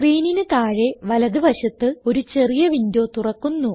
സ്ക്രീനിന് താഴെ വലത് വശത്ത് ഒരു ചെറിയ വിൻഡോ തുറക്കുന്നു